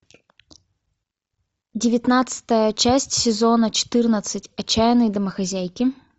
девятнадцатая часть сезона четырнадцать отчаянные домохозяйки